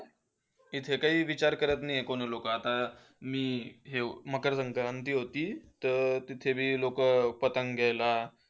इथे कोणी विचार करत नाही आहे. कोणी लोक आता मी हे मकर संक्रांति होती, तर तिथे बी लोकं पतंग घ्यायला